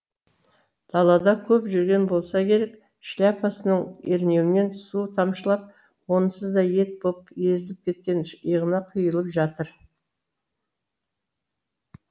далада көп жүрген болса керек шляпасының ернеуінен су тамшылап онсыз да ет боп езіліп кеткен иығына құйылып жатыр